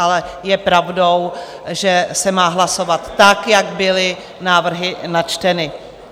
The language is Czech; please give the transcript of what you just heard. Ale je pravdou, že se má hlasovat tak, jak byly návrhy načteny.